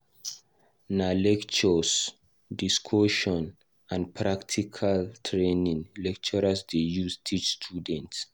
Nah lectures, discussion, and practical training, lecturers dey use teach students